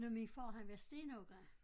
Men min far han var stenhugger